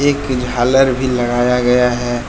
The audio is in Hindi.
एक झालर भी लगाया गया है।